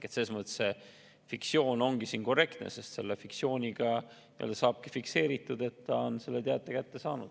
Selles mõttes fiktsioon ongi korrektne, sest selle fiktsiooniga saabki fikseeritud, et isik on selle teate kätte saanud.